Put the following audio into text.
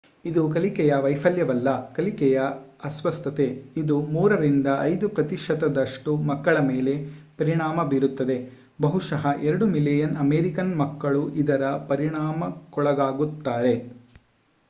ಇದು ಕಲಿಕೆಯ ವೈಫಲ್ಯವಲ್ಲ ಕಲಿಕೆಯ ಅಸ್ವಸ್ಥತೆ ಇದು 3 ರಿಂದ 5 ಪ್ರತಿಶತದಷ್ಟು ಮಕ್ಕಳ ಮೇಲೆ ಪರಿಣಾಮ ಬೀರುತ್ತದೆ ಬಹುಶಃ 2 ಮಿಲಿಯನ್ ಅಮೆರಿಕನ್ ಮಕ್ಕಳು ಇದರ ಪರಿಣಾಮಕ್ಕೊಳಗಾಗುತ್ತಾರೆ